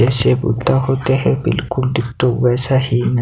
जैसे भुट्टा होते है बिल्कुल डिट्टो वैसा ही न--